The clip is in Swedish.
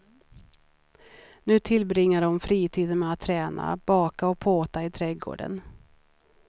Nu tillbringar hon fritiden med att träna, baka och påta i trädgården.